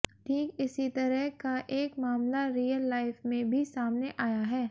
ठीक इसी तरह का एक मामला रियल लाइफ में भी सामने आया है